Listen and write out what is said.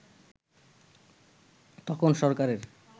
তখন সরকারের